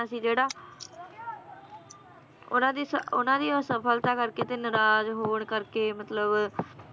ਸੀ ਜਿਹੜਾ ਉਹਨਾਂ ਦੀ ਸ~ ਉਹਨਾਂ ਦੀ ਅਸਫਲਤਾ ਕਰਕੇ ਤੇ ਨਾਰਾਜ਼ ਹੋਣ ਕਰਕੇ ਮਤਲਬ